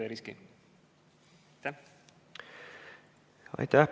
Aitäh!